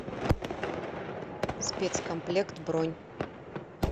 спецкомплект бронь